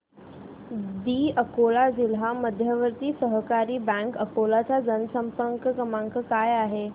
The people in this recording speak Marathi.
दि अकोला जिल्हा मध्यवर्ती सहकारी बँक अकोला चा जनसंपर्क क्रमांक काय आहे